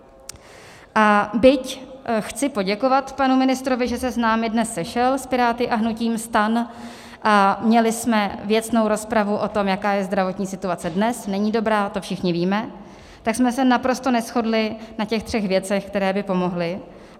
A byť chci poděkovat panu ministrovi, že se s námi dnes sešel, s Piráty a hnutím STAN, a měli jsme věcnou rozpravu o tom, jaká je zdravotní situace dnes - není dobrá, to všichni víme - tak jsme se naprosto neshodli na těch třech věcech, které by pomohly.